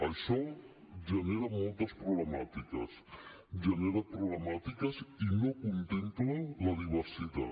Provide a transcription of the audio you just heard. això genera moltes problemàtiques genera problemàtiques i no contempla la diversitat